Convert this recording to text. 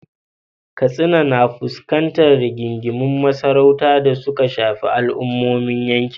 Katsina na fuskantar rigingimun masarautu da suka shafi al’ummomin yankin.